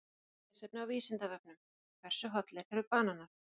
Frekara lesefni á Vísindavefnum: Hversu hollir eru bananar?